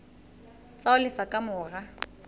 tsa ho lefa ka mora